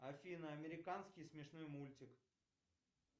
афина американский смешной мультик